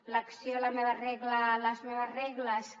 l’acció la meva regla les meves regles que